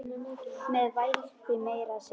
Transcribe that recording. Með alvæpni meira að segja!